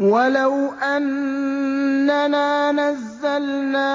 ۞ وَلَوْ أَنَّنَا نَزَّلْنَا